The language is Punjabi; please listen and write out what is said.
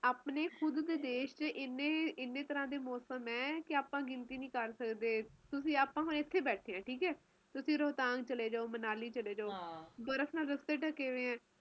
ਆਪਣੇ ਖੁਦ ਦੇ ਦੇਸ਼ ਚ ਏਨੇ ਤਰਾਂ ਦੇ ਮੌਸਮ ਹੈ ਆਪਾ ਗਿਣਤੀ ਨਹੀਂ ਕਰ ਸਕਦੇ ਤੁਸੀਂ ਹੁਣ ਆਪਾ ਇਥੇ ਬੈਠੇ ਆ ਤੁਸੀਂ ਰੋਹਤਾਂਨ ਚਲੇ ਜਾਓ ਮਨਾਲੀ ਚਲੇ ਜਾਓ ਬਰਫ ਨਾਲ ਰਸਤੇ ਢਕੇ ਹੋਏ ਆ